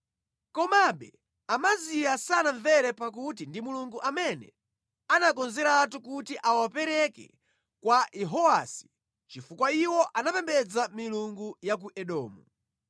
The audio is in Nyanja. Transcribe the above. Komabe Amaziya sanamvere pakuti ndi Mulungu amene anakonzeratu kuti awapereke kwa Yehowasi, chifukwa iwo amapembedza milungu ya ku Edomu.